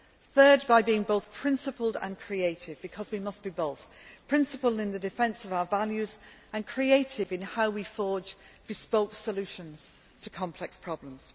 Thirdly, by being both principled and creative because we must be both principled in the defence of our values and creative in how we forge bespoke solutions to complex problems.